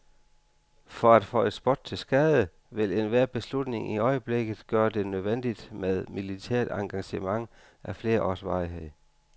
For at føje spot til skade, vil enhver beslutning i øjeblikket gøre det nødvendigt med militært engagement af flere års varighed.